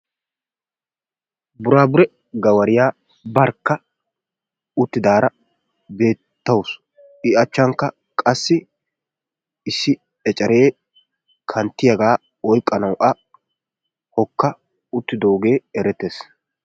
Buraabure gawariya barkka uttidaara beettawusu i achchankka qassi issi eceree kanttiyagaa oyqqanawu a hokka uttidoogee erettes.